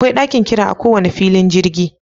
Akwai ɗakin jira a ko wani filin jirgi.